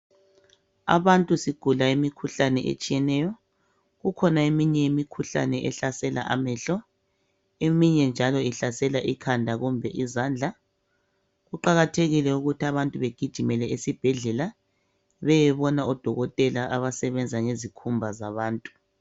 Abantu sigula imikhuhlane etshiyeneyo kukhona eminye imikhuhlane ehlasela amehlo eminye njalo ihlasela ikhanda kumbe izandla kuqakathekile ukuthi abantu begijemele esibhedlela beyebona odokotela abasebenza ngezikhumba zabantu